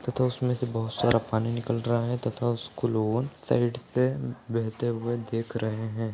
तथा उसमे से बहुत सारा पानी निकल रहा है तथा उसको लोग साइड से बहते हुए देख रहे हैं ।